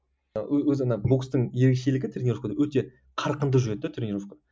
өзі ана бокстың ерекшелігі тренеровкада өте қарқынды жүреді де тренеровка